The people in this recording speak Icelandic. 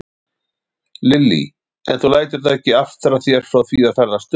Lillý: En þú lætur það ekki aftra þér frá því að ferðast um?